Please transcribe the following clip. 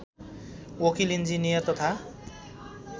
वकिल इन्जिनियर तथा